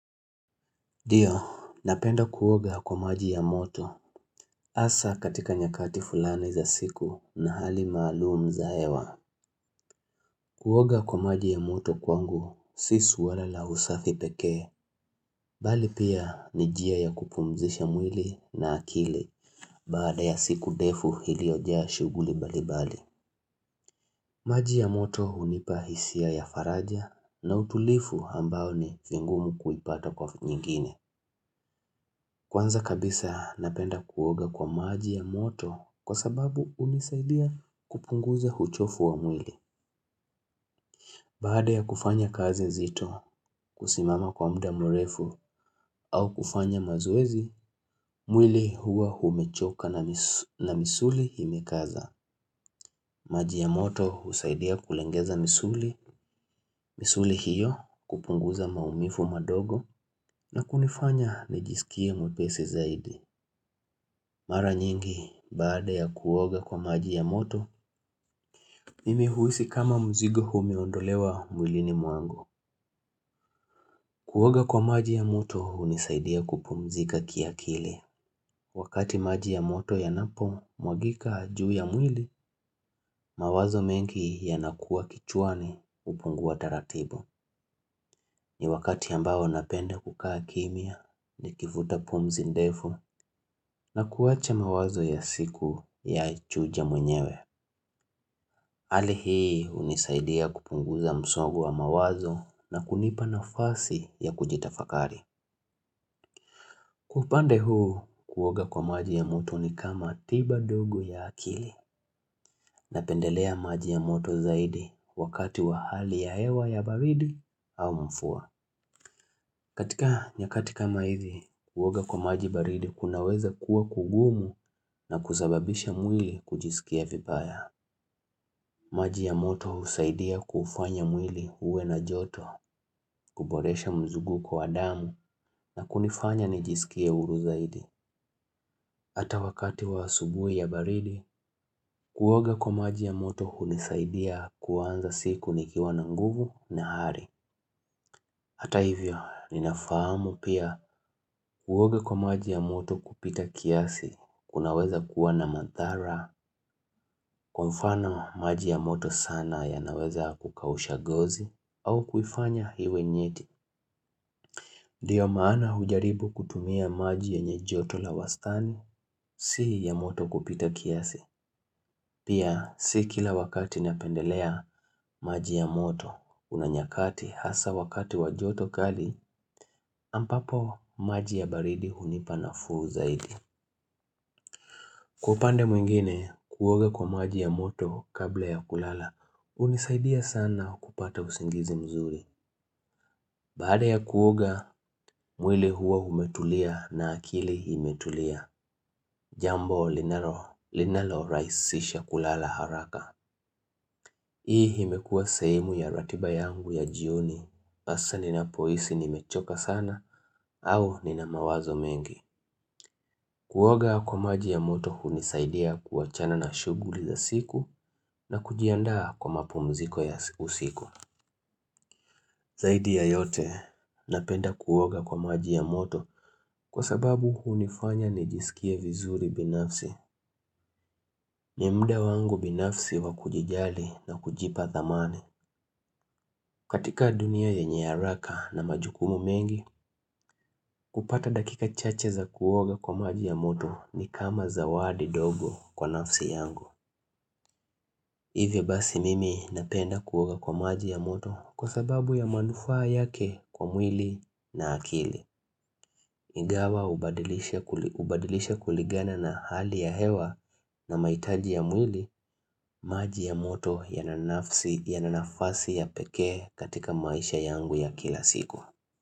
Ndio, napenda kuoga kwa maji ya moto, asa katika nyakati fulani za siku na hali maalum za hewa. Kuoga kwa maji ya moto kwangu, si swala la usafi pekee, bali pia ni jia ya kupumzisha mwili na akili, bada ya siku defu iliyojaa shuguli bali bali. Maji ya moto unipa hisia ya faraja na utulifu ambao ni vingumu kuipata kwa nyingine. Kwanza kabisa napenda kuoga kwa maji ya moto kwa sababu unisaidia kupunguza huchofu wa mwili. Baada ya kufanya kazi zito kusimama kwa mda murefu au kufanya mazowezi, mwili huwa humechoka na misuli himekaza. Maji ya moto husaidia kulengeza misuli, misuli hiyo kupunguza maumifu madogo na kunifanya nijisikia mwepesi zaidi. Mara nyingi, baada ya kuwoga kwa maji ya moto, mimi huisi kama mzigo humeondolewa mwilini mwangu. Kuwoga kwa maji ya moto unisaidia kupumzika kiakili. Wakati maji ya moto yanapo mwagika juu ya mwili, mawazo mengi yanakua kichwani upungu wa taratibu ni wakati ambao napenda kukaa kimya nikifuta pumzi ndefu na kuwache mawazo ya siku ya chujia mwenyewe. Hali hii unisaidia kupunguza msogu wa mawazo na kunipa nafasi ya kujitafakari. Kupande huu, kuwoga kwa maji ya moto ni kama tiba dogu ya akili na pendelea maji ya moto zaidi wakati wa hali ya hewa ya baridi au mfua. Katika nyakati kama hizi, kuwoga kwa maji baridi kunaweza kuwa kugumu na kuzababisha mwili kujisikia vipaya. Maji ya moto husaidia kufanya mwili uwe na joto, kuboresha mzugu kwa damu na kunifanya nijisikia uruzaidi. Hata wakati wa asubui ya baridi, kuwoga kwa maji ya moto hunisaidia kuanza siku nikiwa na nguvu na hari. Hata hivyo, ninafahamu pia kuwoga kwa maji ya moto kupita kiasi, kunaweza kuwa na madhara, kwa mfano maji ya moto sana ya naweza kukawusha gozi au kufanya hiwe nyeti ndiyo maana hujaribu kutumia maji yenye joto la wastani si ya moto kupita kiasi pia si kila wakati napendelea maji ya moto kuna nyakati hasa wakati wa joto kali ampapo maji ya baridi hunipa nafuu zaidi kwa upande mwingine kuwoga kwa maji ya moto kabla ya kulala unisaidia sana kupata usingizi mzuri Bada ya kuoga, mwili huwa umetulia na akili imetulia Jambo linalo raisisha kulala haraka Hii himekua sehemu ya ratiba yangu ya jioni Asa ninapoisi nimechoka sana au nina mawazo mengi Kuoga kwa maji ya moto hunisaidia kuachana na shuguli za siku na kujianda kwa mapu mziko ya usiku Zaidi ya yote, napenda kuoga kwa maji ya moto kwa sababu hunifanya nijisikie vizuri binafsi. Ni mda wangu binafsi wakujijali na kujipa thamani. Katika dunia ya haraka na majukumu mengi, kupata dakika chache za kuoga kwa maji ya moto ni kama zawadi dogo kwa nafsi yangu. Hivyo basi mimi napenda kuoga kwa maji ya moto kwa sababu ya manufaa yake kwa mwili na akili. Nigawa ubadilisha kuligana na hali ya hewa na maitaji ya mwili maji ya moto ya na nafasi ya peke katika maisha yangu ya kila siku.